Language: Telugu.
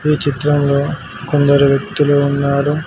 ఈ చిత్రంలో కొందరు వ్యక్తులు ఉన్నారు.